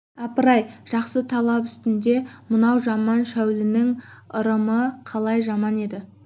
апырай жақсы талап үстінде мынау жаман шәулінің ырымы қалай жаман еді